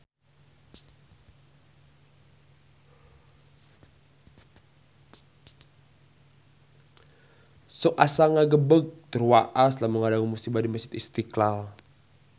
Sok asa ngagebeg tur waas lamun ngadangu musibah di Masjid Istiqlal